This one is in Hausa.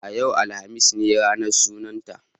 Yau, alhamis ne ranar sunanta.